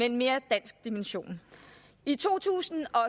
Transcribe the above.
en mere dansk dimension i to tusind og